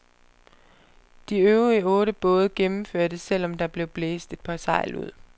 De øvrige otte både gennemførte, selv om der blev blæst et par sejl ud.